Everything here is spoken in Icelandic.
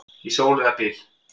Í sól eða byl.